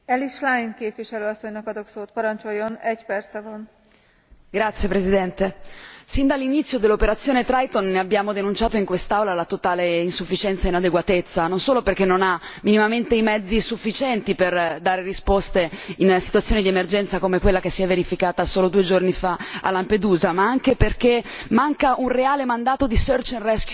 Signora Presidente, onorevoli colleghi, sin dall'inizio dell'operazione Triton ne abbiamo annunciato in quest'Aula la totale insufficienza e inadeguatezza, non solo perché non ha minimamente i mezzi sufficienti per dare risposte in una situazione di emergenza come quella che si è verificata solo due giorni fa a Lampedusa, ma anche perché manca un reale mandato di search and rescue in mare,